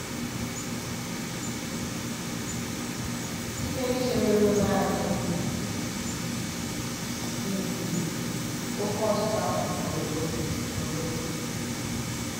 Site n’ichere ruo nanị minit iri, oké ọchịchọ ahụ pụrụ ịkwụsị. pụrụ ịkwụsị.